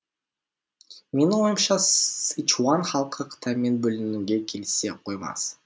менің ойымша сычуан халқы қытаймен бөлінуге келісе қоймас